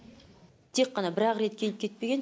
тек қана бір ақ рет келіп кетпеген